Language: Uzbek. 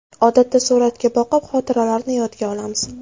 Odatda suratga boqib, xotiralarni yodga olamiz.